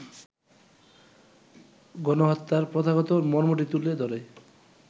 গণহত্যার প্রথাগত মর্মটি তুলে ধরে